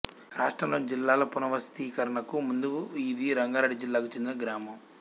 రాష్ట్రంలోని జిల్లాల పునర్వ్యవస్థీకరణకు ముందు ఇది రంగారెడ్డి జిల్లాకు చెందిన గ్రామం